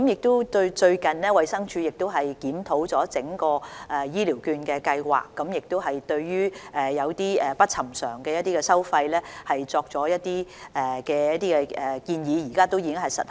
最近，衞生署就整項醫療券計劃進行檢討，對一些不尋常的收費作出建議，現時亦已實行。